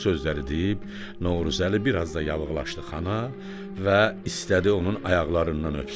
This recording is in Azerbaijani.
Bu sözləri deyib, Novruzəli biraz da yağılaşdı xana və istədi onun ayaqlarından öpsün.